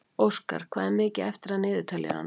Óskar, hvað er mikið eftir af niðurteljaranum?